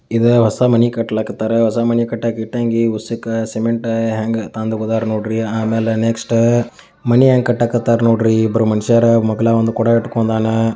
ಇದ ಹೊಸ ಮನಿ ಕಟ್ತಲ್ಕತ್ತರ. ಹೊಸ ಮನಿ ಕಟ್ಟಕ ಇಟ್ಟಂಗಿ ಹುಸಕ ಸಿಮೆಂಟ ಹ್ಯಾಂಗ ತಂದು ಹೂದರ್ ನೋಡ್ರಿ ಆಮೇಲೆ ನೆಕ್ಸ್ಟ್ ಮನಿ ಹ್ಯಾಂಗ್ ಕಟ್ತಲ್ಕತ್ತರ ನೋಡಿ ಇಬ್ರ್ ಮನಷ್ಯರ ಮಾಗ್ಲೆಂಗ್ ಕೊಡ ಹಿಂಡಿಕೊಂಡನ.